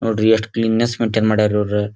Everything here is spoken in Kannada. ನೋಡ್ರಿ ಎಷ್ಟ್ ಕ್ಲೀನ್ ನೆಸ್ ಮಡ್ಯಾರ್ ಇವ್ರು--